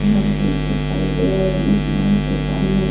दिखाई दे रहे हैं इस नल के सामने --